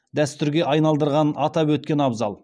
дәстүрге айналдырғанын атап өткен абзал